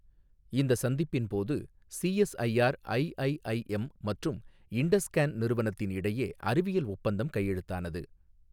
இந்த சந்திப்பின் போது, சிஎஸ்ஐஆர் ஐஐஐஎம் மற்றும் இண்டஸ் ஸ்கேன் நிறுவனத்தின் இடையே அறிவியல் ஒப்பந்தம் கையெழுத்தானது.